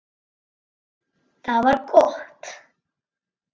Það var gott